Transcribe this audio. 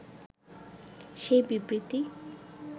সেই বিবৃতি